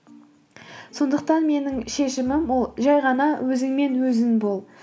сондықтан менің шешімім ол жай ғана өзіңмен өзің бол